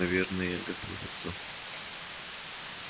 наверное готовится к нападению